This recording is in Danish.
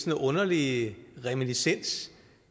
en underlig reminiscens